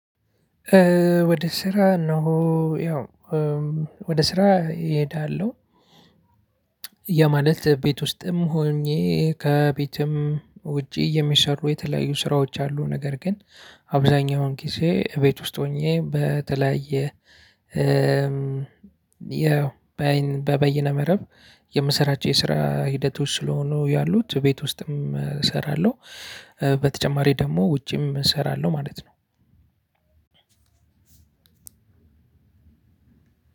ወደ ስራ እሄዳለው። ያ ማለት ቤት ውስጥም ሆኜ ከቤትም ውጪ የሚሰሩ የተለያዩ ስራዎች አሉ ነገር ግን አብዛኛውን ጊዜ እቤት ውስጥ ሆኜ በተለያየ ያው በአይን በበይነ መረብ የምሰራቸው የስራ ሂደቶች ስለሆኑ ያሉት ቤት ውስጥም እሰራለሁ። በተጨማሪ ደግሞ ውጪም እሰራለሁ ማለት ነው።